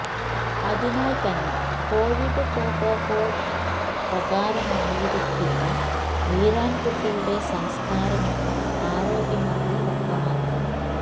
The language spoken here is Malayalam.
അതിനാൽ തന്നെ കൊവിഡ് പ്രോട്ടോകോൾ പ്രകാരമായിരിക്കില്ല വീരാൻ കുട്ടിയുടെ സംസ്കാരമെന്നും ആരോഗ്യമന്ത്രി വ്യക്തമാക്കി